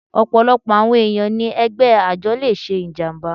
Ọ̀pọ̀lọpọ̀ àwọn ẹ̀yàn ni ẹgbẹ́ àjọ le ṣe ìjàmbá.